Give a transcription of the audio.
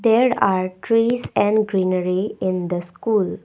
there are trees and greenery in the school.